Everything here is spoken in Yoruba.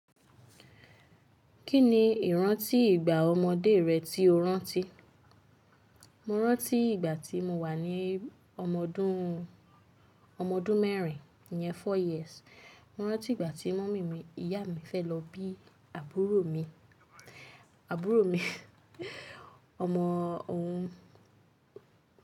Kí ni ìrántí ìgbà ọmọdé rẹ tí o rántí? Mo rántí ìgbà tí mo wà ní ọmọdún mẹ́rin, ìyẹn four years. Mo rántí ìgbà tí mummy mi, ìyá mi fẹ́ lọ bí àbúrò mi, àbúrò mi ọmọ òun.